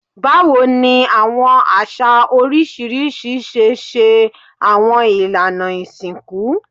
Bawo ni awọn aṣa oriṣiriṣi ṣe ṣe awọn ilana isinku?